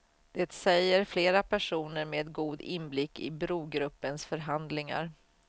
Det säger flera personer med god inblick i brogruppens förhandlingar.